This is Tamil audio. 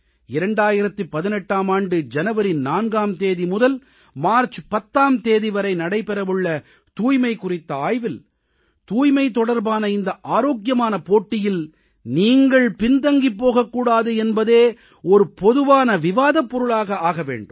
2018ஆம் ஆண்டு ஜனவரி 4ஆம் தேதி முதல் மார்ச் 10ஆம் தேதி வரை நடைபெற உள்ள தூய்மை குறித்த ஆய்வில் தூய்மை தொடர்பான இந்த ஆரோக்கியமான போட்டியில் நீங்கள் பின்தங்கிப் போகக் கூடாது என்பதே ஒரு பொதுவான விவாதப் பொருளாக ஆக வேண்டும்